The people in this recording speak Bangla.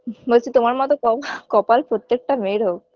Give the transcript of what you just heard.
বলছি তোমার মতন ক laugh কপাল প্রত্যেকটা মেয়ের হোক